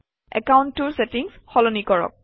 একাউণ্টটোৰ চেটিংচ সলনি কৰক